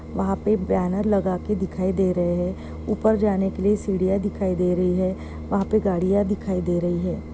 वहाँ पर बैनर लगाके दिखाई दे रहा है उपर जाने केलिय सीडियाँ दिखाई दे रही है वहाँ पर गाडियाँ दिखाई दे रही है।